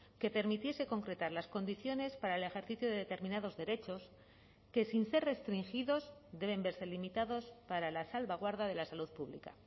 que permitiese concretar las condiciones para el ejercicio de determinados derechos que sin ser restringidos deben verse limitados para la salvaguarda de la salud pública